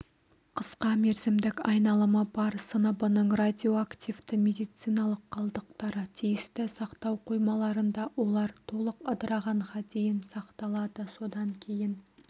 қысқа мерзімдік айналымы бар сыныбының радиоактивті медициналық қалдықтары тиісті сақтау қоймаларында олар толық ыдырағанға дейін сақталады содан кейін